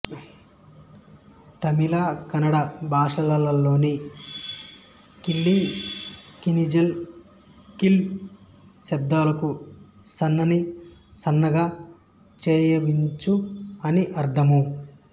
తమిళ కన్నడ భాషలలోని కిళి కిళింజల్ కీళ్ శబ్దాలకు సన్నని సన్నగా చేయు చించు అని అర్ధము